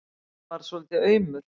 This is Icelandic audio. Halli varð svolítið aumur.